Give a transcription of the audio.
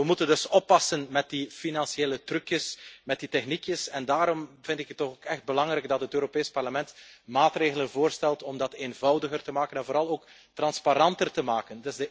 Maar we moeten dus oppassen met die financiële trucjes, met die techniekjes, en daarom vind ik het ook echt belangrijk dat het Europees Parlement maatregelen voorstelt om dat eenvoudiger te maken en vooral ook transparanter te maken.